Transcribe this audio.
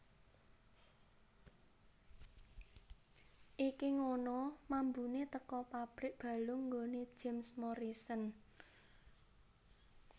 Iki ngono mambune teko pabrik balung nggone James Morrison